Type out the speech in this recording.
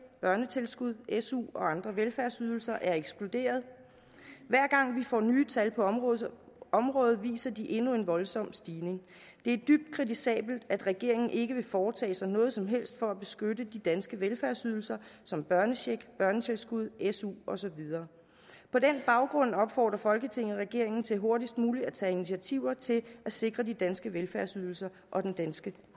børnetilskud su og andre velfærdsydelser er eksploderet hver gang vi får nye tal på området området viser de endnu en voldsom stigning det er dybt kritisabelt at regeringen ikke vil foretage sig noget som helst for at beskytte de danske velfærdsydelser som børnecheck børnetilskud su og så videre på den baggrund opfordrer folketinget regeringen til hurtigst muligt at tage initiativer til at sikre de danske velfærdsydelser og den danske